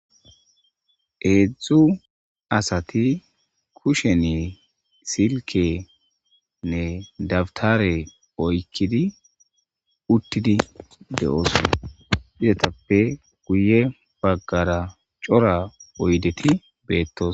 Hedzdzu asati kushen sikenne dawutare oyqidi utidi dosona izatappe guye bagara guye bagara cora oydeti betosona